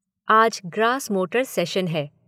आज gross motor session है।